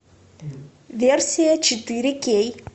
версия четыре кей